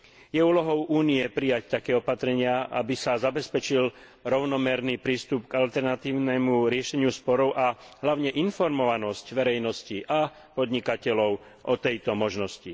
Je úlohou Únie prijať také opatrenia, aby sa zabezpečil rovnomerný prístup k alternatívnemu riešeniu sporov a hlavne informovanosť verejnosti a podnikateľov o tejto možnosti.